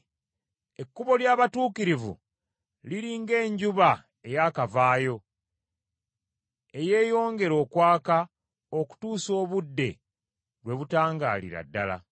Ekkubo ly’abatuukirivu liri ng’enjuba eyakavaayo, eyeeyongera okwaka okutuusa obudde lwe butangaalira ddala.